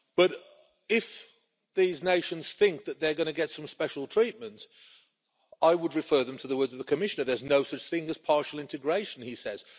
But if these nations think that they're going to get some special treatment, I would refer them to the words of the Commissioner there is no such thing as partial integration he says